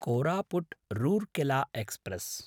Koraput-Rourkela express